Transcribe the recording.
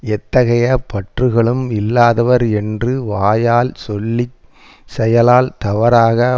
எத்தகைய பற்றுகளும் இல்லாதவர் என்று வாயால் சொல்லி செயலால் தவறாக